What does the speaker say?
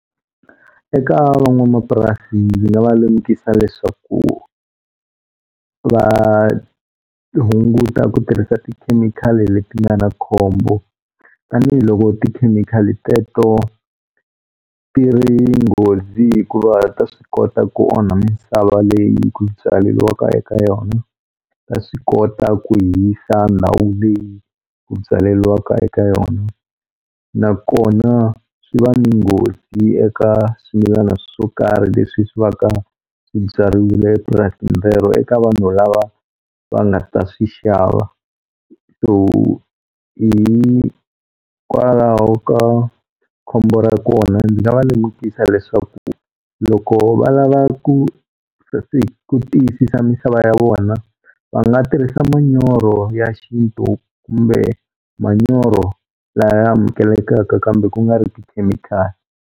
Eka van'wamapurasi ndzi nga va lemukisa leswaku va hunguta ku tirhisa tikhemikhali leti nga na khombo tanihiloko tikhemikhali teto ti ri nghozi hikuva ta swi kota ku onha misava leyi ku byaliwaka eka yona ta swi kota ku hisa ndhawu leyi ku byaleliwaka eka yona nakona swi va ni nghozi eka swimilana swo karhi leswi swi va ka swibyariwile epurasini rero eka vanhu lava va nga ta swi xava so hikwalaho ka khombo ra kona ndzi nga va lemukisa leswaku loko va lava ku tiyisisa misava ya vona va nga tirhisa manyoro ya xintu kumbe manyoro laya amukelekaka kambe ku nga ri tikhemikhali.